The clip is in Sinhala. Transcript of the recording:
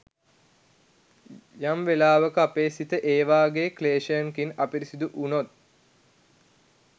යම් වෙලාවක අපේ සිත ඒ වගේ ක්ලේශයකින් අපිරිසිදු වුණොත්